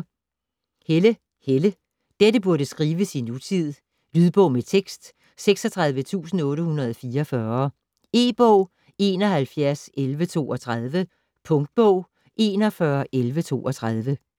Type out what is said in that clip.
Helle, Helle: Dette burde skrives i nutid Lydbog med tekst 36844 E-bog 711132 Punktbog 411132